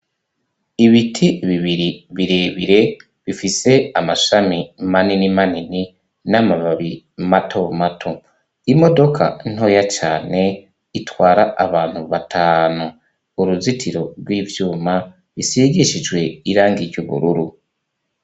Ibiti bibiri bire bire bifise amashami manini manini n'amababi mato mato imodoka ntoya cane itwara abantu batanu uruzitiro gw'ivyuma rusigishijwe irangi ry' ubururu.